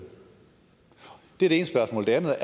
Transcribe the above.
det er det ene spørgsmål det andet